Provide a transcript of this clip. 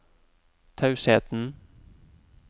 tausheten